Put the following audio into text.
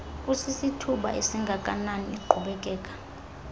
kusisithuba esingakanani iqhubekeka